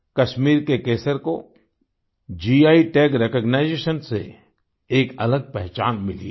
कश्मीर के केसर को गी टैग रिकॉग्निशन से एक अलग पहचान मिली है